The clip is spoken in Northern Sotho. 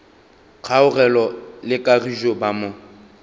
kgaogelo le kagišo ba mo